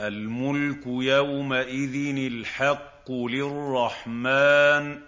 الْمُلْكُ يَوْمَئِذٍ الْحَقُّ لِلرَّحْمَٰنِ ۚ